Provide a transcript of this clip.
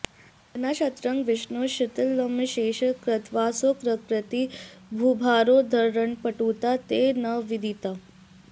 विना क्षत्रं विष्णो क्षितितलमशेषं कृतवसोऽसकृत्किं भूभारोद्धरणपटुता ते न विदिता